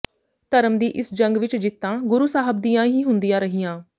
ਧਰਮ ਦੀ ਇਸ ਜੰਗ ਵਿੱਚ ਜਿੱਤਾਂ ਗੁਰੂ ਸਾਹਬ ਦੀਆਂ ਹੀ ਹੁੰਦੀਆਂ ਰਹੀਆਂ